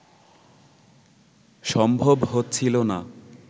সম্ভব হচ্ছিল না